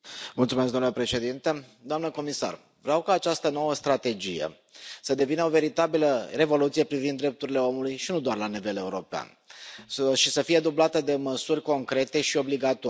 Domnule președinte, doamnă comisar, vreau ca această nouă strategie să devină o veritabilă revoluție privind drepturile omului, și nu doar la nivel european, și să fie dublată de măsuri concrete și obligatorii.